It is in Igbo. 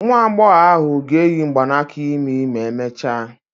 Nwa agbọghọ ahụ ga-eyi mgbanaka imi ma emechaa.